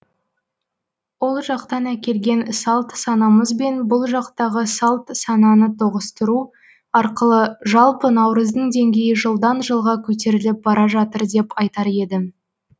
ол жақтан әкелген салт санамыз бен бұл жақтағы салт сананы тоғыстыру арқылы жалпы наурыздың денгейі жылдан жылға көтеріліп бара жатыр деп айтар едім